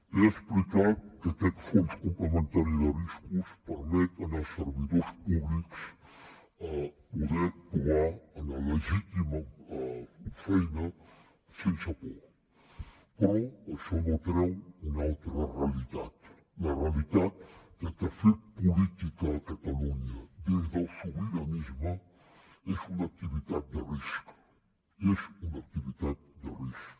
he explicat que aquest fons complementari de riscos permet als servidors públics poder actuar en la legítima feina sense por però això no treu una altra realitat la realitat de que fer política a catalunya des del sobiranisme és una activitat de risc és una activitat de risc